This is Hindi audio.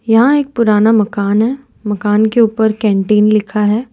यहाँ एक पुराना मकान है मकान के ऊपर कैंटीन लिखा है।